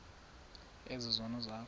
ezi zono zakho